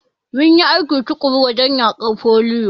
Mum yi aiki tuƙuru wajen yaƙar foliyo.